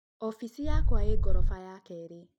Ofisi yakwa ĩĩ gorofa ya kerĩ